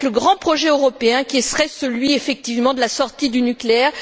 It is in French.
Eh bien, avec le grand projet européen qui serait celui, effectivement, de la sortie du nucléaire.